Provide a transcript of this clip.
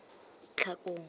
tlhakong